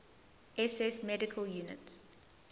ss medical units